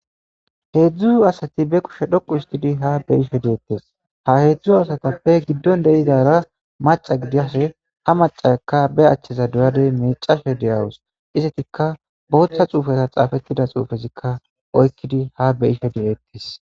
heedzdzu asati be kushe dhoqu istidi ha beyishe deettes ha heedzdzu asatappe giddon deizara maca gidiashe ha macaekka be achcheza duyadey miicashe deyawus isetikka booththa xuufeta xaafettida xuufezikka oykkidi ha beyishe de7eettis